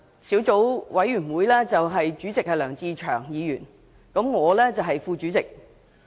小組委員會主席是梁志祥議員，我是副主席。